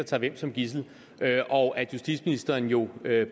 tager hvem som gidsel og at justitsministeren jo